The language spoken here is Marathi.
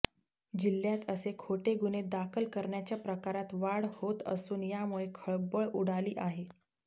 जिल्ह्यात असे खोटे गुन्हे दाखल करण्याच्या प्रकारात वाढ होत असून यामुळे खळबळ उडाली आहे